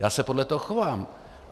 Já se podle toho chovám.